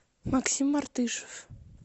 максим артышев